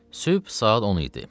Sübh saat 10 idi.